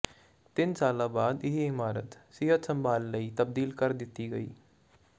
ਤਿੰਨ ਸਾਲ ਬਾਅਦ ਇਹ ਇਮਾਰਤ ਸਿਹਤ ਸੰਭਾਲ ਲਈ ਤਬਦੀਲ ਕਰ ਦਿੱਤੀ ਗਈ